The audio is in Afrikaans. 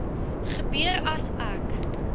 gebeur as ek